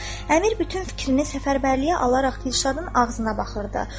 Əmir bütün fikrini səfərbərliyə alaraq Dilşadın ağzına baxırdı.